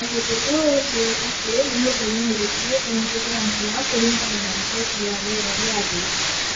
Na githĩ to ũnjĩĩre atĩ nĩ mũthenya ũrĩkũ ũngĩgĩa mbura kũringana na riboti ya rĩera rĩa thĩ?